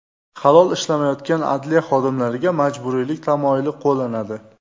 Halol ishlamayotgan adliya xodimlariga majburiylik tamoyili qo‘llanadi.